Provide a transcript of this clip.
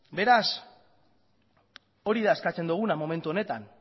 beraz hori da eskatzen duguna momentu honetan